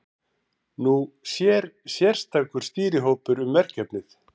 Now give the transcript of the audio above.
Nú sér sérstakur stýrihópur um verkefnið.